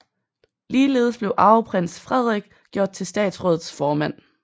Ligeledes blev arveprins Frederik gjort til statsrådets formand